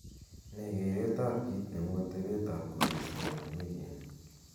nee gereet ab kiit neu atebet ab koristo en wigini